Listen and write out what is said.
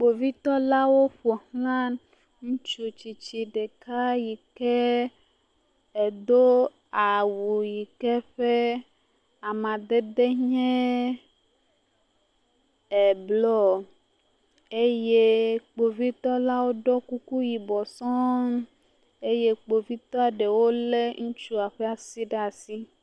Kpovitɔlawo ƒo xlã ŋutsu tsitsi ɖeka yi ke do awu yi ke ƒe amadede nye e blɔ eye kpovitɔ la ɖɔ kuku yibɔ sɔ̃ɔ eye kpovitɔ ɖewo lé ŋutsua ƒe asi ɖe asi.